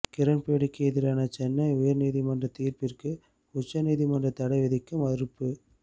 கிரண்பேடிக்கு எதிரான சென்னை உயர்நீதிமன்ற தீர்ப்பிற்கு உச்சநீதிமன்றம் தடை விதிக்க மறுப்பு